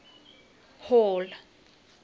hall